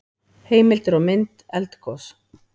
Heimildir og mynd Eldgos.